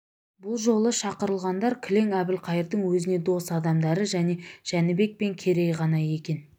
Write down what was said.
бұл жолғы шақырылғандар кілең әбілқайырдың өзіне дос адамдары және жәнібек пен керей ғана екен